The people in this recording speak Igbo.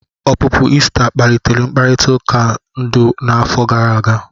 Ọpụpụ Ị́sta kpalitere mkparịta ụka ndu n'afọ gara aga.